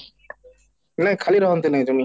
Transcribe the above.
ନାଇଁ ଖାଲି ରହନ୍ତି ନାହିଁ ଜମି